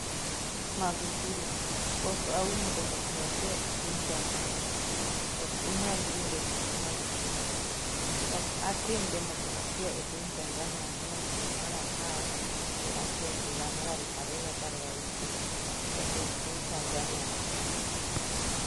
Magufuli: Pok aum demokrasia e piny Tanzania Ok unyal winjo kendo Magufuli: Ok atim demokrasia e piny Tanzania 4 dwe mar apar gi achiel higa mar 2016 Jatend piny Tanzania Dr.